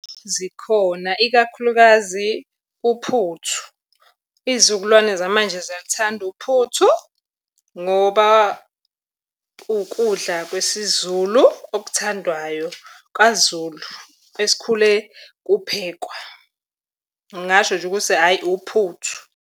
Zikhona, ikakhulukazi uphuthu. Iy'zukulwane zamanje ziyaluthanda uphuthu ngoba ukudla kwesiZulu okuthandwayo kaZulu, esikhule kuphekwa. Ngingasho nje ukuthi hhayi uphuthu.